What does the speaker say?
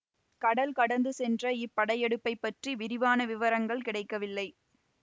கடல் கடந்து சென்ற இப்படையெடுப்பைப் பற்றி விரிவான விவரங்கள் கிடைக்கவில்லை